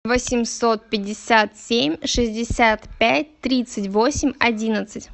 восемьсот пятьдесят семь шестьдесят пять тридцать восемь одиннадцать